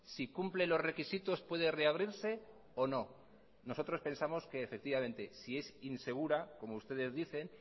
si cumple los requisitos puede reabrirse o no nosotros pensamos que efectivamente si es insegura como ustedes dicen